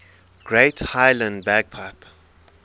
great highland bagpipe